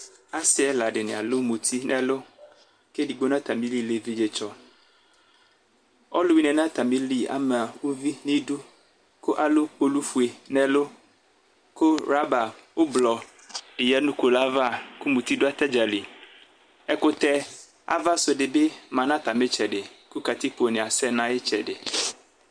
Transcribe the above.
Asi ɛla dini alʋ muti nʋ ɛlʋkʋ edigbo nʋ atamili lɛ evidze tsɔɔluwuini yɛ nʋ atamili ama uvi nʋ idu, kʋ alʋ kpolu fue nʋ ɛlʋ kʋ ɣlɔba ublɔ di ya nʋ kpolu'ava, kʋ muti dʋ atani dza li ɛkutɛ avasu dibi ma nʋ atami itsɛdiku katikpo ni asɛ nʋ iyiʋ itsɛdi